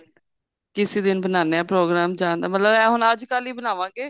ਕਿਸੇ ਦਿਨ ਬਨਾਨੇ ਆ program ਜਾਂ ਦਾ ਮਤਲਬ ਇਹ ਹੁਣ ਅੱਜਕਲ ਹੀ ਬਣਾਵਾਂਗੇ